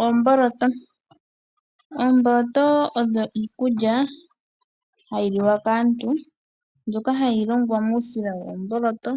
Oomboloto, oomboloto odho iikulya hayi li wa kaantu mbyoka hayi longwa muusila woomboloto